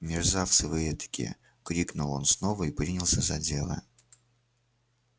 мерзавцы вы этакие крикнул он снова и принялся за дело